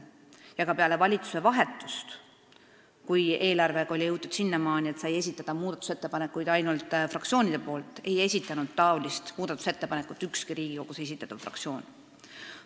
Isegi peale valitsuse vahetust, kui eelarvega oli jõutud sinnamaani, et muudatusettepanekuid said esitada ainult fraktsioonid, ei esitanud niisugust ettepanekut ükski Riigikogus esindatud fraktsioon.